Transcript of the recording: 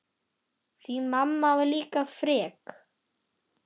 Því mamma var líka frek.